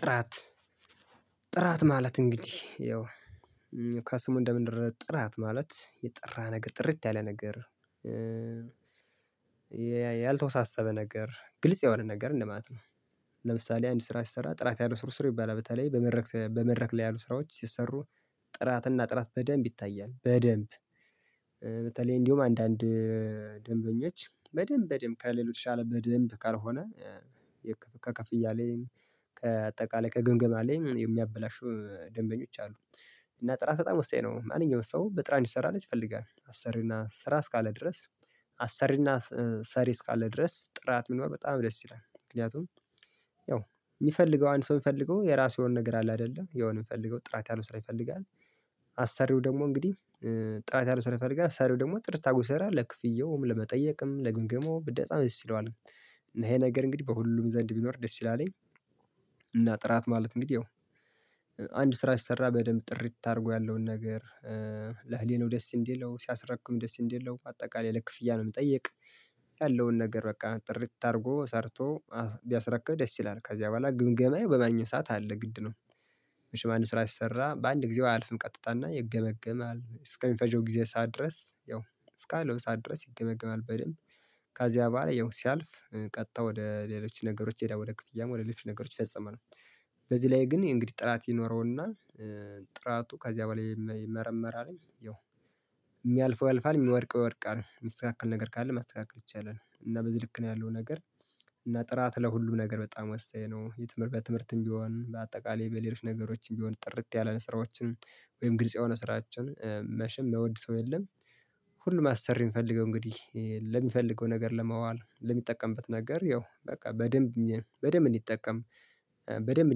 ጥራት ጥራት ማለት እንግዲህ ያው ከስሙ እንደምንረዳው ጥራት ማለት የጠራ ነገር ጥርት ያለ ነገር ያልተወሳሰበ ነገር ግልጽ የሆነ ነገር እንደማለት ነው። ለምሳሌ አንድ ስራ ሲሰራ ጥራት ያለው ስር ስር ይባላል። በተለይ በመድረክ በመድረክ ላይ ያሉ ስራዎች ሲሰሩ ጥራት እና ጥራት በደንብ ይታያል በደንብ በተለይ እንዲሁም አንዳንድ ደንበኞች በደንብ በደንብ ከሌሎች የተሻለ በደንብ ካልሆነ ከክፍያ ላይም ከአጠቃላይ ከግምግም ላይም የሚያበላሹ ደንበኞች አሉ። እና ጥራት በጣም ወሳኝ ነው ማንኛውም ሰው በጥራን እንዲሰራለት ይፈልጋል አሰሪና ስራ እስካለ ድረስ አሰሪና ሰሪ እስካለ ድረስ ጥራት ቢኖር በጣም ደስ ይላል። ምክንያቱም ያው የሚፈልገው አንድ ሰው የሚፈልገው የራሱ የሆነ ነገር አለ አይደለ የሆነ የምፈልገው ጥራት ነው ስራ ይፈልጋል። አሳሪው ደግሞ እንግዲህ ጥራት ያለው ስራ ይፈልጋል አሳሪው ደግሞ ጥርት አድርጎ ሲሰራ ለክፍያውም ለመጠየቅም ለግምገማውም በጣም ይስ ይለዋል። ይሄ ነገር እንግዲህ በሁሉም ዘንድ ቢኖር ደስ ይላልኝ። እና ጥራት ማለት እንግዲህ አንድ ስራ ሲሰራ በደንብ ጥርት አድርጎ ያለውን ነገር ለህሊናው ደስ እንዲለው ሲያስረክብ ደስ እንዲለው አጠቃላይ ለክፍያ ለመጠየቅ ያለውን ነገር በቃ ጥርት አድርጎ ሰርቶ ቢያስረክብ ደስ ይላል ከዚያ በኋላ ግምገማዬ በማንኛውም ሰዓት አለ ግድ ነው። መቼም አንድ ስራ ሲሰራ በአንድ ጊዜው አያልፍም ቀጥታና ይገመገማል እስከሚፈጀው ጊዜ ሰዓት ድረስ ያው እስካለው ሰዓት ድረስ ይገመገማል በደንብ ከዚያ በኋላ ያው ሲያልፍ ቀጥታ ወደ ሌሎች ነገሮች ይሄዳል ወደ ክፍያም ወደ ሌሎች ነገሮች ይፈጸማል። በዚህ ላይ ግን እንግዲህ ጥራት ይኖረውና ጥራቱ ከዚያ በላይ ይመረመራል ያው የሚያልፈው ያልፋል የሚወድቀው ይወድቃል የሚስተካከል ነገር ካለ ማስተካከል ይቻላል። እና በዚህ ልክ ነው ያለው ነገር እና ጥራት ለሁሉም ነገር በጣም ወሳኝ ነው። የትምህርት በትምህርትም ቢሆን በአጠቃላይ በሌሎች ነገሮችም ቢሆን ጥርት ያለ ስራዎችን ወይም ግልጽ የሆነ ስራዎችን መቼም የማይውድ ሰው የለም። አሰሪ የምፈልገው እንግዲህ ለሚፈልገው ነገር ለማዋል ለሚጠቀምበት ነገር ያው በቃ በደንብ በደንብ እንዲጠቀም በደንብ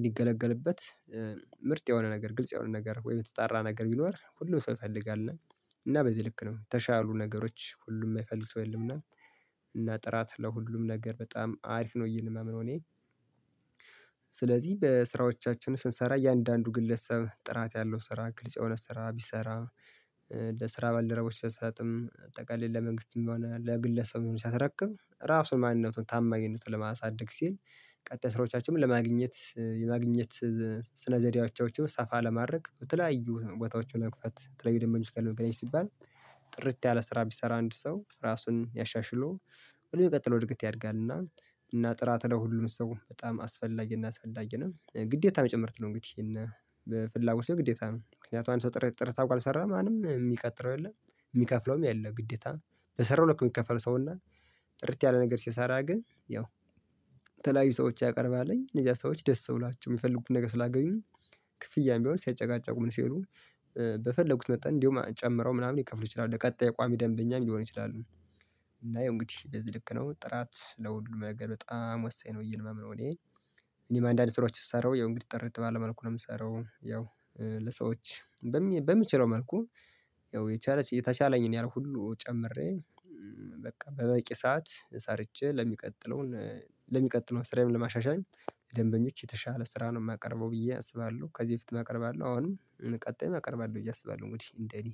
እንዲገለገልበት ምርጥ የሆነ ነገር ግልጽ የሆነ ነገር ወይ የተጣራ ነገር ቢኖር ሁሉም ሰው ይፈልጋል። እና እና በዚህ ልክ ነው የተሻሉ ነገሮች ሁሉም የማይፈልግ ሰው የለም እና እና ጥራት ለሁሉም ነገር በጣም አሪፍ ነው። የምለው እኔ ስለዚህ በስራዎቻችን ስንሰራ እያንዳንዱ ግለሰብ ጥራት ያለው ስራ ግልጽ የሆነ ስራ ቢሰራ። ለስራ ባልደረቦች ስሰጥም አጠቃላይ ለመንግስትም በሆነ ለግለሰብም ሲያስረክብ እራሱን ማንነቱን ታማኝነቱን ለማሳደግ ሲል ቀጣይ ስራዎቻቸውን ለማግኘት የማግኘት ስነዘሪያዎቻቸውን ሰፋ ለማድረግ በተለያዩ ቦታዎችን ለመክፈት የተለይዩ ደንበኞች ጋር ለመገናኘት ሲባል። ጥርት ያለ ስራ ቢሰራ አንድ ሰው ራሱን ያሻሽሎ ሁሉ ቀጥሎ እድገት ያድጋልና። እና ጥራት ላይ ሁሉም ሰው በጣም አስፈላጊና አስፈላጊ ነው ግዴታ ጭምር ነው እንግዲህ እና በፍላጎት ግዴታ ነው። ምክንያቱም አንድ ሰው ጥር ጥርት አድርጎ ካልሰራ ማንም የሚቀጥረው የለም። የሚከፍለውም የለው ግዴታ በሰራው ልክ የሚከፈለው ሰውና ጥርት ያለ ነገር ሲሰራ ግን ያው የተለያዩ ሰዎች ያቀርባልኝ እነዚያ ሰዎች ደስ ብሏቸው የሚፈልጉትን ነገር ስላገኙ። ክፍያም ቢሆን ሳይጨቃጨቁ ምን ሳይሉ በፈለጉት መጣን እንደውም ጨምረው ምናምን ሊከፍሉ ይችላሉ ለቀጣይ ቋሚ ደንበኛም ሊሆን ይችላሉ። እና ይሄ እንግዲህ እንደዚህ ልክ ነው ጥራት ለሁሉ ነገር በጣም ወሳኝ ነው ብዬ ማምነው እኔ። እኔ አንዳንዴ ስራዎች ስሰራው ያው እንግዲህ ጥርጥር ባለ መልኩ ነው የምሰራው። ያው ለሰዎች በምችለው መልኩ ያው የተቻለኝን ያህል ሁሉ ጨምሬ በቃ በበቂ ሰዓት ሰርቼ ለሚቀጥለውን ለሚቀጥለውን ስራዬን ለማሻሻል ደንበኞች የተሻለ ስራ ነው የማቀርበው ብዬ አስባለሁ። ከዚህ በፊት አቀርባለሁ አለው አሁንም ቀጣይ መቅረብ አለው ብዬ አስባለሁ። እንግዲህ እንደኔ